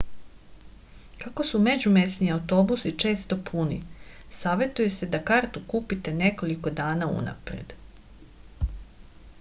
kako su međumesni autobusi često puni savetuje se da kartu kupite nekoliko dana unapred